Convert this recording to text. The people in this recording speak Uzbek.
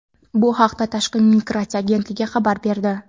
Bu haqda Tashqi migratsiya agentligi xabar berdi.